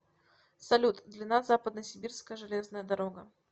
салют длина западносибирская железная дорога